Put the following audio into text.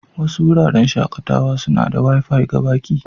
Wasu wuraren shakatawa suna da Wi-Fi ga baƙi.